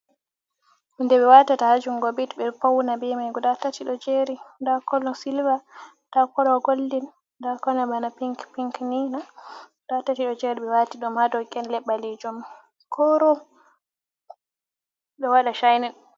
Hunde be watata hajungo, bit beɗo pouna beman guda da tati kolo silver nda kolo goldin, nda kolo bana pinc pinc nina guda tati ɓe wati dom hadokenle ɓalijum korom do wada chainin.